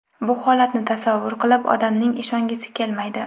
Bu holatni tasavvur qilib, odamning ishongisi kelmaydi.